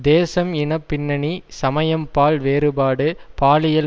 தேசம் இன பின்னணி சமயம் பால் வேறுபாடு பாலியல்